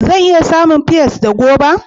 Zan iya samun pears da goba